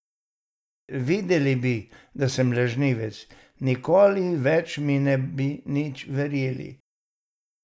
Videli bi, da sem lažnivec, nikoli več mi ne bi nič verjeli.